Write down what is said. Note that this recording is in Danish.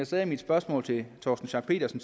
sagde i mit spørgsmål til herre torsten schack pedersen